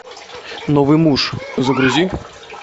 новый муж загрузи